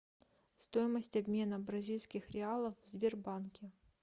стоимость обмена бразильских реалов в сбербанке